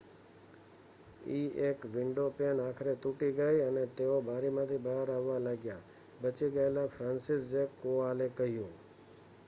"eએક windowpane આખરે તૂટી ગઈ અને તેઓ બારીમાંથી બહાર આવવા લાગ્યા," બચી ગયેલા ફ્રાન્સિસઝેક કોવાલે કહ્યું.